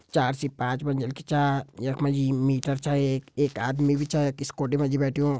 चार से पांच मंजिल की च यख मा जी मिटर च एक एक आदमी भी छ यख स्कूटी मा जी बैठ्यों।